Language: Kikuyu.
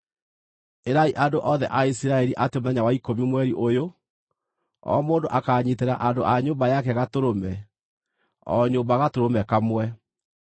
Ĩrai andũ othe a Isiraeli atĩ mũthenya wa ikũmi mweri ũyũ, o mũndũ akanyiitĩra andũ a nyũmba yake gatũrũme; o nyũmba gatũrũme kamwe.